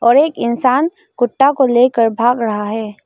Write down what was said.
और एक इंसान कुत्ता को लेकर भाग रहा है।